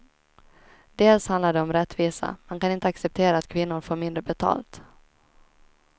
Dels handlar det om rättvisa, man kan inte acceptera att kvinnor får mindre betalt.